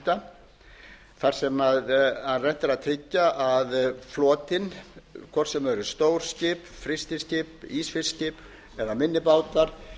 veiðiheimilda þar sem reynt er að tryggja að flotinn hvort sem það eru stór skip frystiskip ísfiskskip eða minni bátar